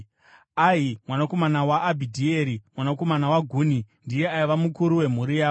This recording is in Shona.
Ahi mwanakomana waAbhidhieri, mwanakomana waGuni, ndiye aiva mukuru wemhuri yavo.